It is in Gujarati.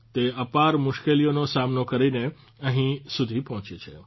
તે અપાર મુશ્કેલીઓનો સામનો કરીને અહીં સુધી પહોંચી છે